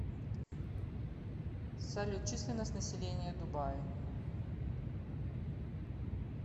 салют численность населения дубаи